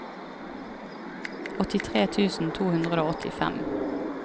åttitre tusen to hundre og åttifem